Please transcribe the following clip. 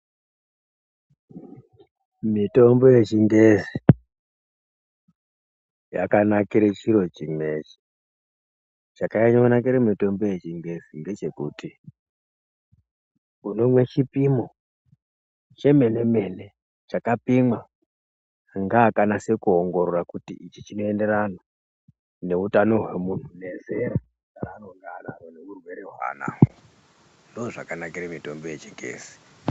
Mitombo yechingezi yakanakakira chiro chimwechi, chakanyanyo nakira mitombo yechingezi ndechekuti unomwe chipimo chemene mene chakapimwa ngeakanasa kuongorora kuti ichi chinoenderana nahutano hwamunhu nezera rwaanonga anarwo nehurwere hwaanenge anahwo ndozvakanakira mitombo yechingezi.